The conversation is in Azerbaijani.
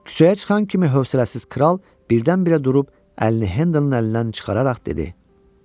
Küçəyə çıxan kimi hövsələsiz kral birdən-birə durub əlini Hədanın əlindən çıxararaq dedi.